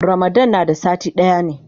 Ramadan na da sati daya ne.